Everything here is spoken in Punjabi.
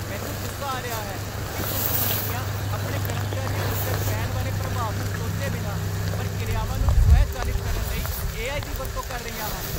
ਮੈਨੂੰ ਗੁੱਸਾ ਆ ਰਿਹਾ ਹੈ ਕਿ ਕੁਝ ਕੰਪਨੀਆਂ ਆਪਣੇ ਕਰਮਚਾਰੀਆਂ ਉੱਤੇ ਪੈਣ ਵਾਲੇ ਪ੍ਰਭਾਵ ਨੂੰ ਸੋਚੇ ਬਿਨਾਂ ਪ੍ਰਕਿਰਿਆਵਾਂ ਨੂੰ ਸਵੈਚਾਲਿਤ ਕਰਨ ਲਈ ਏ.ਆਈ. ਦੀ ਵਰਤੋਂ ਕਰ ਰਹੀਆਂ ਹਨ।